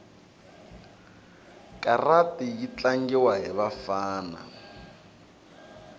karati yitlangiwa hhivafana